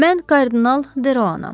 Mən kardinal Deroanam.